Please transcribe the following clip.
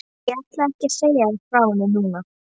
En ég ætla ekki að segja þér frá henni núna.